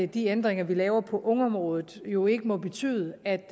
de ændringer vi laver på ungeområdet jo ikke må betyde at